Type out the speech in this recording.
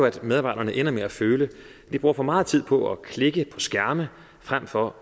at medarbejderne ender med at føle at de bruger for meget tid på at klikke på skærme frem for